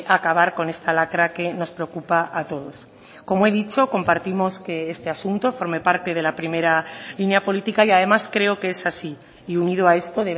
acabar con esta lacra que nos preocupa a todos como he dicho compartimos que este asunto forme parte de la primera línea política y además creo que es así y unido a esto